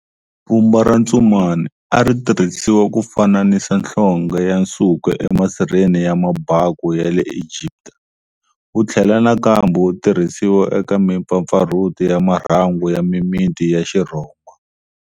Vumba ra tsumani a ritirhisiwa ku fananisa nhlonge ya nsuku e masirheni ya mabaku ya le Egipta, wuthlela nakambe wu tirhisiwa eka mipfapfarhuto ya marhangu ya mimiti ya xirhoma.